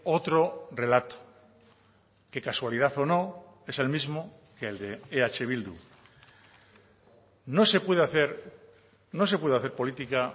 otro relato que casualidad o no es el mismo que el de eh bildu no se puede hacer no se puede hacer política